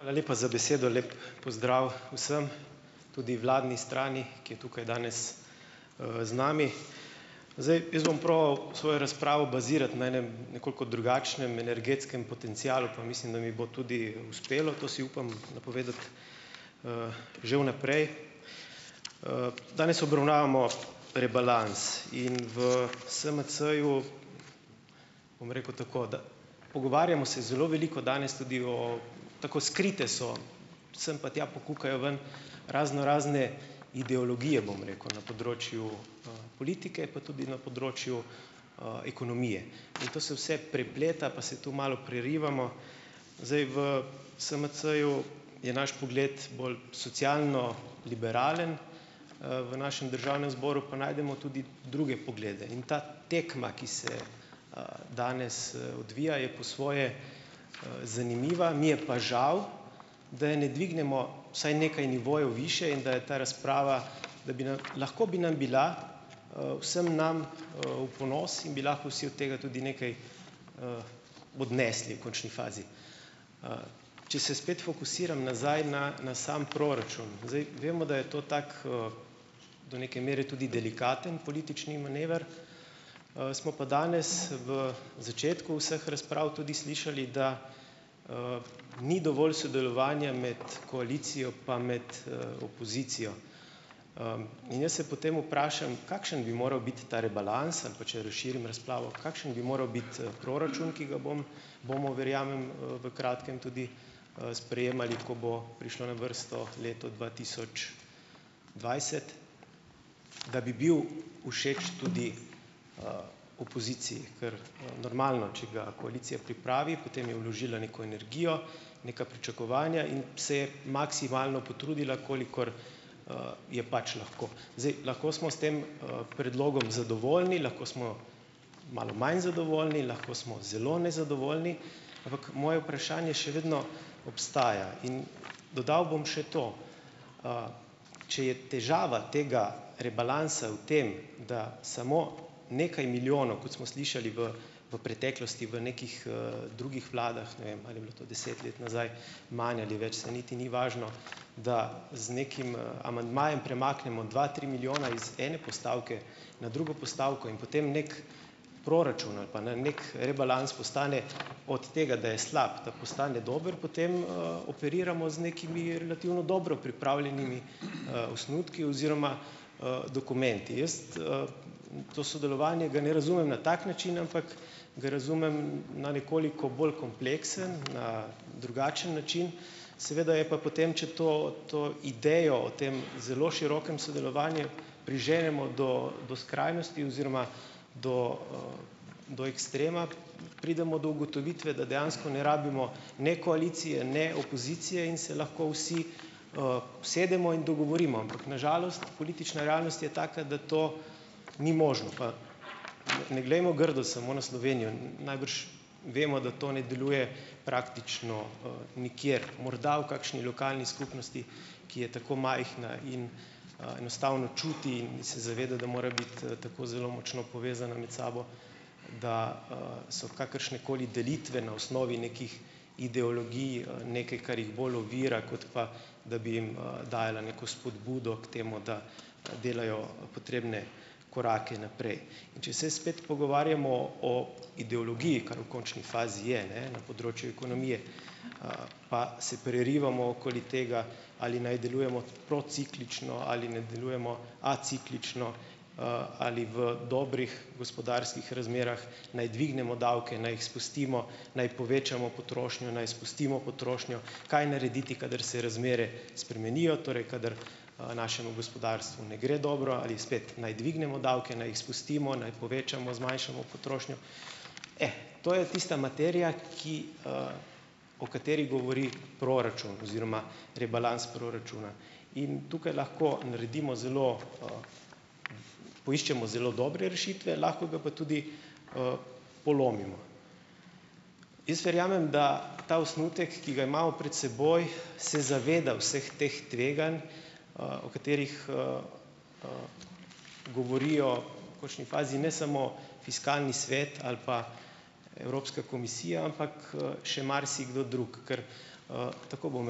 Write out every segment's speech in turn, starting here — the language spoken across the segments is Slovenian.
Hvala lepa za besedo. Lep pozdrav vsem, tudi vladni strani, ki je tukaj danes z nami. Zdaj jaz bom probal svojo razpravo bazirati na enem nekoliko drugačnem energetskem potencialu, pa mislim, da mi bo tudi uspelo, to si upam napovedati že vnaprej. Danes obravnavamo rebalans in v SMC-ju, bom rekel tako, da pogovarjamo se zelo veliko danes tudi o o, tako skrite so, sem pa tja pokukajo ven raznorazne ideologije, bom rekel, na področju politike, pa tudi na področju ekonomije. In to se vse prepleta, pa se to malo prerivamo. Zdaj v SMC-ju je naš pogled bolj socialno-liberalen, v našem Državnem zboru pa najdemo tudi druge poglede. In ta tekma, ki se danes odvija, je po svoje zanimiva, mi je pa žal, da je ne dvignemo vsaj nekaj nivojev višje, in da je ta razprava, da bi nam lahko bi nam bila vsem nam v ponos in bi lahko vsi od tega tudi nekaj odnesli v končni fazi. Če se spet fokusiram nazaj na na sam proračun. Zdaj, vemo, da je to tak, do neke mere tudi delikaten politični manever, smo pa danes v začetku vseh razprav tudi slišali, da ni dovolj sodelovanja med koalicijo pa med opozicijo. In jaz se potem vprašam, kakšen bi moral biti ta rebalans ali pa, če razširim razpravo, kakšen bi moral biti proračun, ki ga bom, bomo verjamem, v kratkem tudi sprejemali, ko bo prišlo na vrsto leto dva tisoč dvajset, da bi bil všeč tudi opoziciji, ker normalno, če ga koalicija pripravi, potem je vložila neko energijo, neka pričakovanja in se je maksimalno potrudila, kolikor je pač lahko. Zdaj, lahko smo s tem predlogom zadovoljni, lahko smo malo manj zadovoljni, lahko smo zelo nezadovoljni, ampak moje vprašanje še vedno obstaja in dodal bom še to, če je težava tega rebalansa v tem, da samo nekaj milijonov, kot smo slišali v v preteklosti, v nekih drugih vladah, ne vem, ali je to deset let nazaj manj ali več, saj niti ni važno, da z nekim amandmajem premaknemo dva tri milijona iz ene postavke na drugo postavko in potem nek proračun ali pa na nek rebalans postane od tega, da je slab, da postane dober, potem operiramo z nekimi relativno dobro pripravljenimi osnutki oziroma dokumenti. Jaz to sodelovanje ga ne razumem na tak način, ampak ga razumem na nekoliko bolj kompleksen, na drugačen način, seveda je pa potem, če to to idejo o tem zelo širokem sodelovanju priženemo do do skrajnosti oziroma do do ekstrema, pridemo do ugotovitve, da dejansko ne rabimo ne koalicije ne opozicije in se lahko vsi usedemo in dogovorimo, ampak na žalost politična realnost je taka, da to ni možno, pa ne glejmo grdo samo na Slovenijo, najbrž vemo, da to ne deluje praktično nikjer, morda v kakšni lokalni skupnosti, ki je tako majhna in enostavno čuti in se zaveda, da mora biti tako zelo močno povezana med sabo, da so kakršnekoli delitve na osnovi nekih ideologij, nekaj, kar jih bolj ovira, kot pa da bi jim dajala neko spodbudo k temu, da delajo potrebne korake naprej. In če se spet pogovarjamo o ideologiji, kar v končni fazi je, ne, na področju ekonomije, pa se prerivamo okoli tega, ali naj delujemo prociklično ali ne delujemo aciklično, ali v dobrih gospodarskih razmerah naj dvignemo davke, naj jih spustimo, naj povečamo potrošnjo, naj spustimo potrošnjo, kaj narediti, kadar se razmere spremenijo, torej kadar našemu gospodarstvu na gre dobro, ali spet naj dvignemo davke, naj jih spustimo, naj povečamo, zmanjšamo potrošnjo, e, to je tista materija, ki o kateri govori proračun oziroma rebalans proračuna. In tukaj lahko naredimo zelo, poiščemo zelo dobre rešitve, lahko ga pa tudi polomimo. Jaz verjamem, da ta osnutek, ki ga imamo pred seboj, se zaveda vseh teh tveganj, o katerih govorijo v končni fazi ne samo fiskalni svet ali pa Evropska komisija, ampak še marsikdo drug. Ker tako bom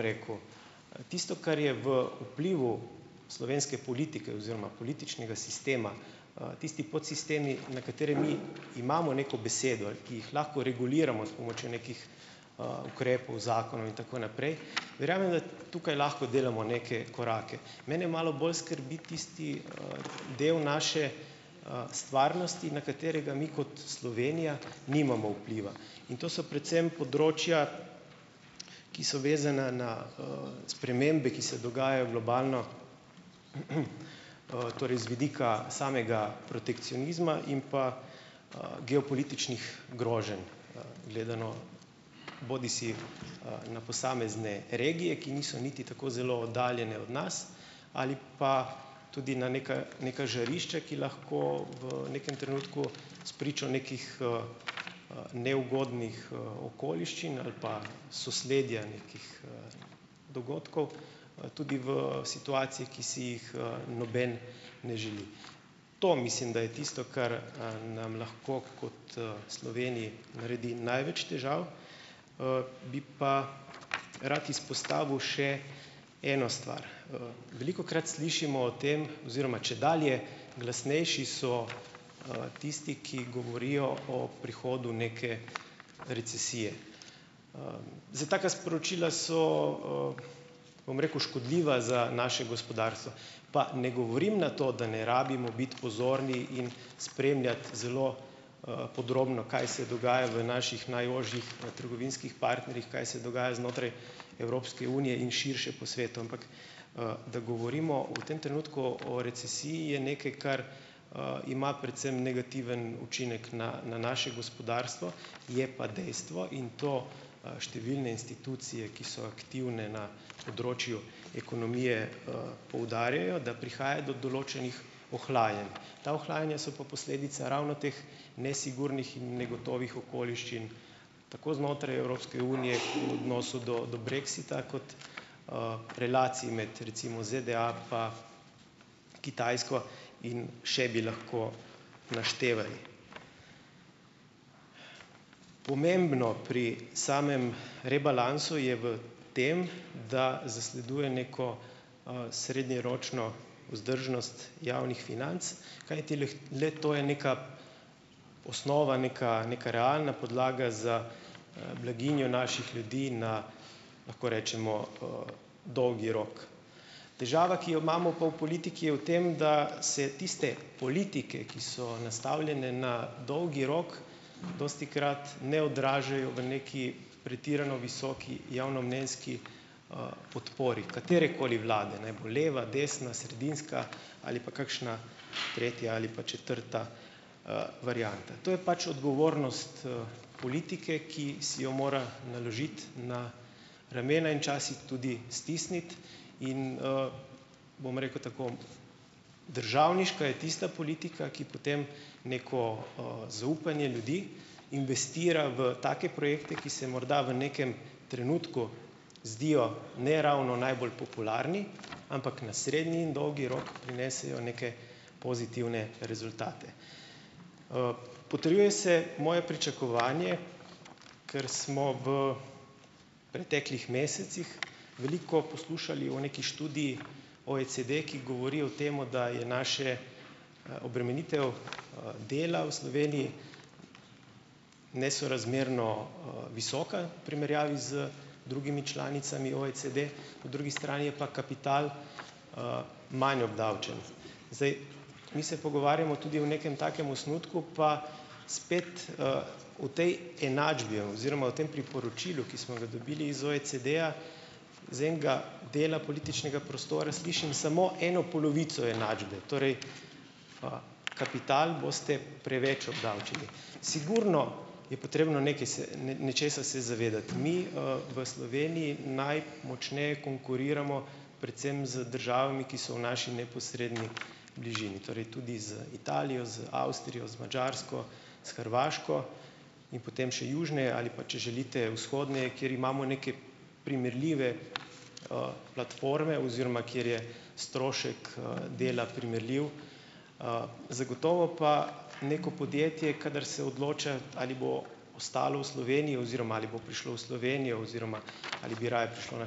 rekel, tisto, kar je v vplivu slovenske politike oziroma političnega sistema, tisti podsistemi, na katere mi imamo neko besedo, ki jih lahko reguliramo s pomočjo nekih ukrepov, zakonov, in tako naprej, ravni, tukaj lahko delamo neke korake. Mene malo bolj skrbi tisti del naše stvarnosti, na katerega mi kot Slovenija nimamo vpliva, in to so predvsem področja, ki so vezana na spremembe, ki se dogajajo globalno, torej z vidika samega protekcionizma in pa geopolitičnih groženj, gledano bodisi na posamezne regije, ki niso niti tako zelo oddaljene od nas, ali pa tudi na neka neka žarišča, ki lahko v nekem trenutku spričo nekih neugodnih okoliščin ali pa sosledja nekih dogodkov, tudi v situaciji, ki si jih noben ne želi. To mislim, da je tisto, kar nam lahko kot Sloveniji naredi največ težav, bi pa rad izpostavil še eno stvar. Velikokrat slišimo o tem oziroma čedalje glasnejši so tisti, ki govorijo o prihodu neke recesije. Zdaj taka sporočila so, bom rekel, škodljiva za naše gospodarstvo, pa ne govorim na to, da ne rabimo biti pozorni in spremljati zelo podrobno, kaj se dogaja v naših najožjih trgovinskih partnerjih, kaj se dogaja znotraj Evropske unije in širše po svetu, ampak da govorimo v tem trenutku o recesiji, je nekaj, kar ima predvsem negativen učinek na na naše gospodarstvo, je pa dejstvo in to številne institucije, ki so aktivne na področju ekonomije, poudarjajo, da prihaja do določenih ohlajanj. Ta ohlajanja so pa posledica ravno teh nesigurnih in negotovih okoliščin, tako znotraj Evropske unije, v odnosu do do brexita, kot relacij med recimo ZDA pa Kitajsko in še bi lahko naštevali. Pomembno pri samem rebalansu je v tem, da zasleduje neko srednjeročno vzdržnost javnih financ, kajti lahko le to je neka osnova, neka neka realna podlaga za blaginjo naših ljudi na, lahko rečemo, dolgi rok. Težava, ki jo imamo pa v politiki, je v tem, da se tiste politike, ki so nastavljene na dolgi rok, dostikrat ne odražajo v neki pretirano visoki javnomnenjski podpori katerekoli vlade, naj bo leva, desna, sredinska ali pa kakšna tretja ali pa četrta varianta. To je pač odgovornost politike, ki si jo mora naložiti na ramena in včasih tudi stisniti in, bom rekel tako, državniška je tista politika, ki potem neko zaupanje ljudi, investira v take projekte, ki se morda v nekem trenutku zdijo ne ravno najbolj popularni, ampak na srednji in dolgi rok prinesejo neke pozitivne rezultate. Potrjuje se moje pričakovanje, ker smo v preteklih mesecih veliko poslušali o neki študiji OECD, ki govori o tem, da je naše obremenitev dela v Sloveniji nesorazmerno visoka primerjavi z drugimi članicami OECD, po drugi strani je pa kapital manj obdavčen. Zdaj, mi se pogovarjamo tudi o nekem takem osnutku, pa spet v tej enačbi je oziroma v tem priporočilu, ki smo ga dobili iz OECD-ja, z enega dela političnega prostora slišim samo eno polovico enačbe, torej, kapital boste preveč obdavčili. Sigurno je potrebno nekaj se nečesa se zavedati - mi v Sloveniji najmočneje konkuriramo predvsem z državami, ki so v naši neposredni bližini, torej tudi z Italijo, z Avstrijo, z Madžarsko, s Hrvaško, in potem še južneje ali pa če želite, vzhodneje, kjer imamo neke primerljive platforme, oziroma kjer je strošek dela primerljiv, zagotovo pa neko podjetje, kadar se odloča, ali bo ostalo v Sloveniji oziroma ali bo prišlo v Slovenijo oziroma ali bi raje prišlo na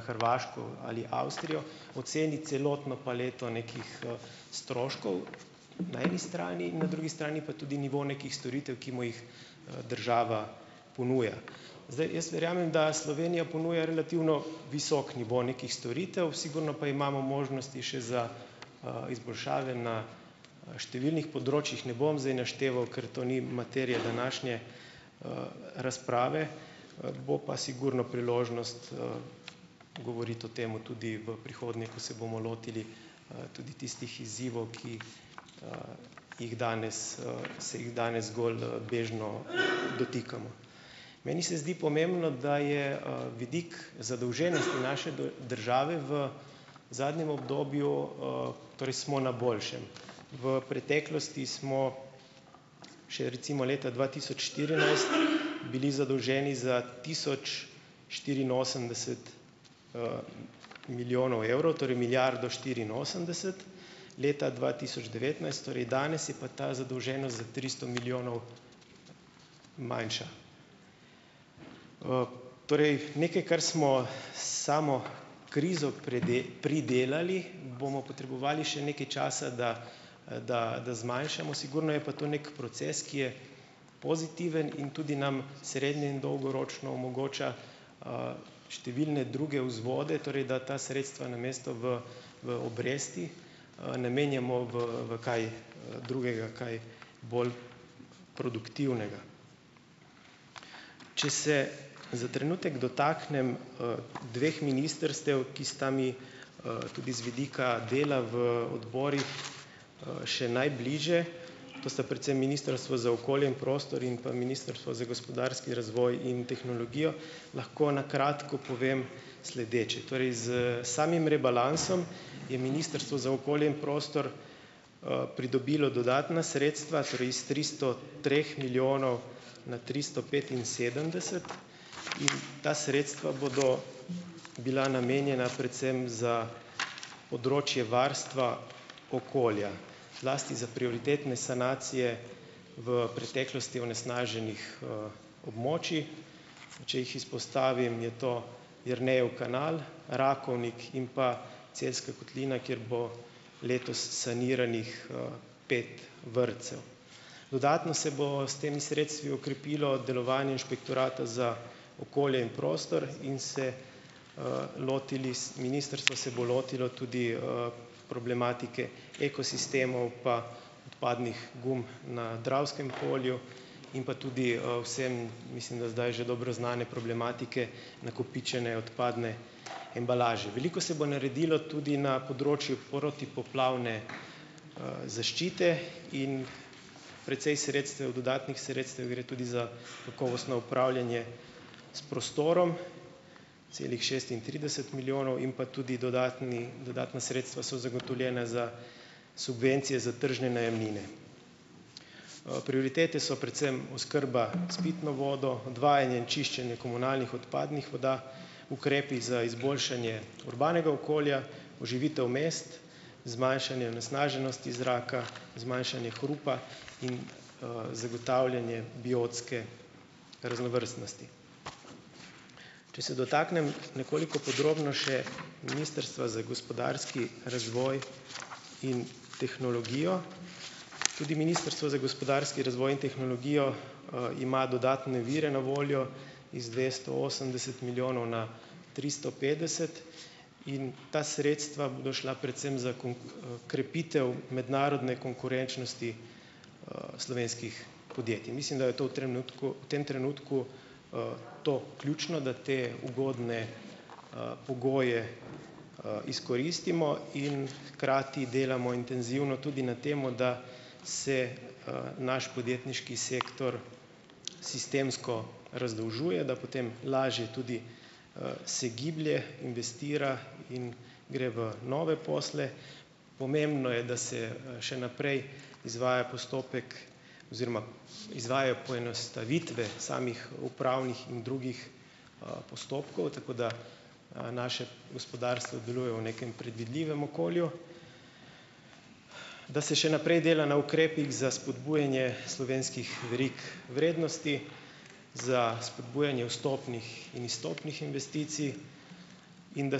Hrvaško ali Avstrijo, oceni celotno paleto nekih stroškov na eni strani, na drugi strani pa tudi nivo nekih storitev, ki mu jih država ponuja. Zdaj, jaz verjamem, da Slovenija ponuja relativno visok nivo nekih storitev, sigurno pa imamo možnosti še za izboljšave na številnih področjih. Ne bom zdaj našteval, ker to ni materija današnje razprave, bo pa sigurno priložnost govoriti o tem tudi v prihodnje, ko se bomo lotili tudi tistih izzivov, ki jih danes se jih danes zgolj bežno dotikamo. Meni se zdi pomembno, da je vidik zadolženosti naše države v zadnjem obdobju, torej smo na boljšem. V preteklosti smo še recimo leta dva tisoč štirinajst bili zadolženi za tisoč štiriinosemdeset milijonov evrov, torej milijardo štiriinosemdeset, leta dva tisoč devetnajst, torej danes, je pa danes ta zadolženost za tristo milijonov manjša. Torej nekaj, kar smo s samo krizo pridelali, bomo potrebovali še nekaj časa, da da da zmanjšamo, sigurno je pa to nek proces, ki je pozitiven in tudi nam srednje- in dolgoročno omogoča številne druge vzvode, torej da ta sredstva namesto v v obresti namenjamo v v kaj drugega, kaj bolj produktivnega. Če se za trenutek dotaknem dveh ministrstev, ki sta mi tudi z vidika dela v odborih še najbližje, to sta predvsem Ministrstvo za okolje in prostor in pa Ministrstvo za gospodarski razvoj in tehnologijo, lahko na kratko povem sledeče. Torej s samim rebalansom je Ministrstvo za okolje in prostor pridobilo dodatna sredstva, torej iz tristo treh milijonov na tristo petinsedemdeset in ta sredstva bodo bila namenjena predvsem za področje varstva okolja, zlasti za prioritetne sanacije v preteklosti onesnaženih območij. Če jih izpostavim, je to Jernejev kanal, Rakovnik in pa Celjska kotlina, kjer bo letos saniranih pet vrtcev. Dodatno se bo s temi sredstvi okrepilo delovanje Inšpektorata za okolje in prostor in se lotili ministrstvo se bo lotilo tudi problematike ekosistemov pa odpadnih gum na Dravskem polju in pa tudi vsem, mislim, da zdaj že dobro znane problematike nakopičene odpadne embalaže, veliko se bo naredilo tudi na področju protipoplavne zaščite in precej sredstev dodatnih sredstev gre tudi za kakovostno upravljanje s prostorom, celih šestintrideset milijonov in pa tudi dodatni dodatna sredstva so zagotovljena za subvencije za tržne najemnine. Prioritete so predvsem oskrba s pitno vodo, odvajanje in čiščenje komunalnih odpadnih voda, ukrepi za izboljšanje urbanega okolja, poživitev mest, zmanjšanje onesnaženosti zraka, zmanjšanje hrupa in zagotavljanje biotske raznovrstnosti. Če se dotaknem nekoliko podrobno še Ministrstvo za gospodarski razvoj in tehnologijo. Tudi Ministrstvo za gospodarski razvoj in tehnologijo ima dodatne vire na voljo, iz dvesto osemdeset milijonov na tristo petdeset in ta sredstva bodo šla predvsem za krepitev mednarodne konkurenčnosti slovenskih podjetij. Mislim, da je to v trenutku v tem trenutku to ključno, da te ugodne pogoje izkoristimo in hkrati delamo intenzivno tudi na tem, da se naš podjetniški sektor sistemsko razdolžuje, da potem lažje tudi se giblje, investira in gre v nove posle. Pomembno je, da se še naprej izvaja postopek oziroma izvajajo poenostavitve samih upravnih in drugih postopkov, tako da naše gospodarstvo deluje v nekem predvidljivem okolju. Da se še naprej dela na ukrepih za spodbujanje slovenskih verig vrednosti, za spodbujanje vstopnih in izstopnih investicij in da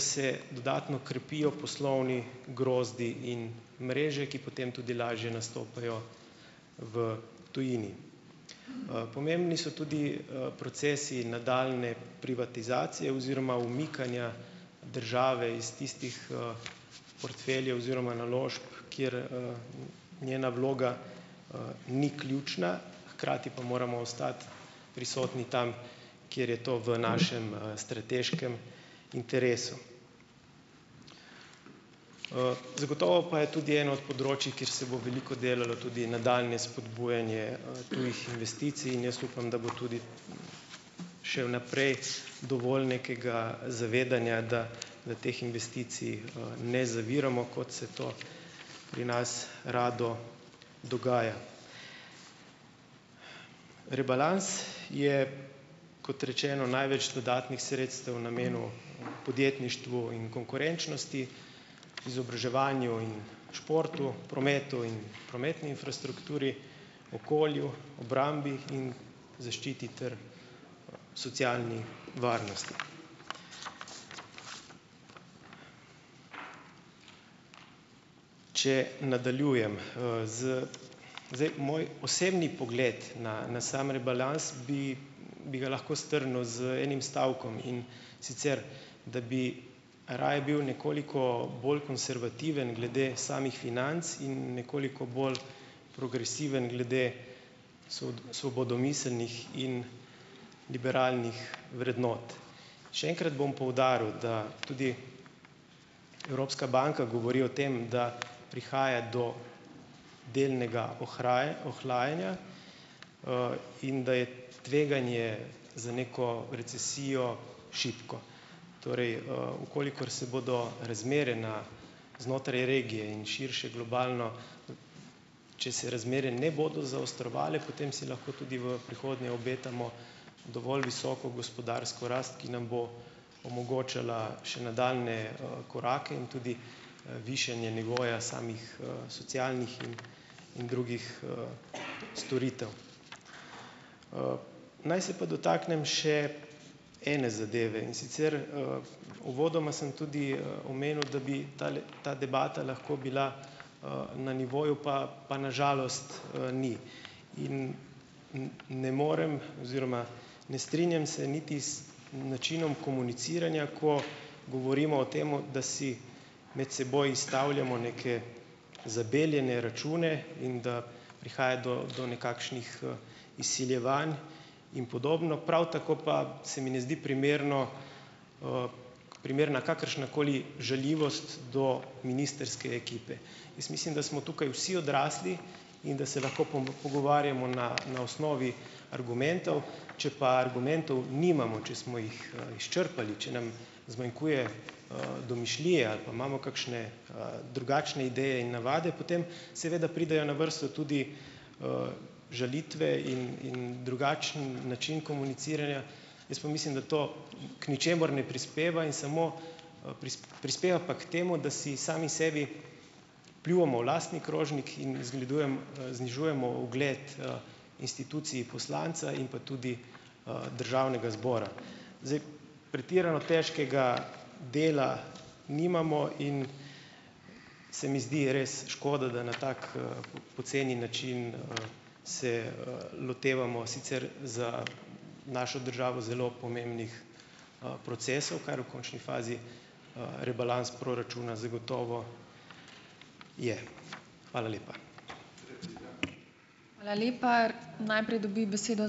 se dodatno krepijo poslovni grozdi in mreže, ki potem tudi lažje nastopajo v tujini. Pomembni so tudi procesi nadaljnje privatizacije oziroma umikanja države iz tistih portfeljev oziroma naložb, kjer njena vloga ni ključna, hkrati pa moramo ostati prisotni tam, kjer je to v našem strateškem interesu. Zagotovo pa je tudi eno od področij, kjer se bo veliko delalo tudi nadaljnje vzpodbujanje tujih investicij, in jaz upam, da bo tudi še v naprej dovolj nekega zavedanja, da da teh investicij ne zaviramo, kot se to pri nas rado dogaja. Rebalans je, kot rečeno največ dodatnih sredstev namenil podjetništvu in konkurenčnosti, izobraževanju in športu, prometu in prometni infrastrukturi, okolju, obrambi in zaščiti ter socialni varnosti. Če nadaljujem, z zdaj moj osebni pogled na na samo rebalans, bi bi ga lahko strnil z enim stavkom, in sicer da bi raje bil nekoliko bolj konservativen glede samih financ in nekoliko bolj progresiven glede svobodomiselnih in liberalnih vrednot. Še enkrat bom poudaril, da tudi Evropska banka govori o tem, da prihaja do delnega ohlajanja in da je tveganje za neko recesijo šibko. Torej, v kolikor se bodo razmere na znotraj regije in širše globalno, če se razmere ne bodo zaostrovale, potem si lahko tudi v prihodnje obetamo dovolj visoko gospodarsko rast, ki nam bo omogočala še nadaljnje korake in tudi višanje nivoja samih socialnih in in drugih storitev. Naj se pa dotaknem še ene zadeve, in sicer uvodoma sem tudi omenil, da bi tale ta debata lahko bila na nivoju, pa pa na žalost ni. In ne morem oziroma ne strinjam se niti z načinom komuniciranja, ko govorimo o tem, da si med seboj izstavljamo neke zabeljene račune in da prihaja do do nekakšnih izsiljevanj in podobno. Prav tako pa se mi ne zdi primerno primerna kakršnakoli žaljivost do ministrske ekipe. Jaz mislim, da smo tukaj vsi odrasli in da se lahko pogovarjamo na na osnovi argumentov. Če pa argumentov nimamo, če smo jih izčrpali, če nam zmanjkuje domišljije ali pa imamo kakšne drugačne ideje in navade, potem seveda pridejo na vrsto tudi žalitve in in drugačen način komuniciranja. Jaz pa mislim, da to k ničemur ne prispeva in samo prispeva pa k temu, da si sami sebi pljuvamo v lastni krožnik in zgledujem znižujemo ugled instituciji poslanca in pa tudi Državnega zbora. Zdaj pretirano težkega dela nimamo in se mi zdi res škoda, da na tak poceni način se lotevamo sicer za našo državo zelo pomembnih procesov, kar v končni fazi rebalans proračuna zagotovo je. Hvala lepa.